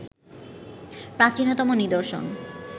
প্রাচীনতম নিদর্শন